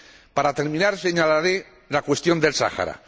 Para terminar señalaré la cuestión del Sáhara.